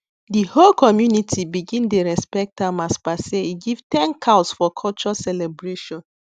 the whole community begin dey respect am as per say e give ten cows for culture celebration